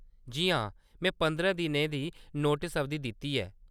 जी हां, में पंदरां दिनें दी नोटस अवधि दित्ती ही।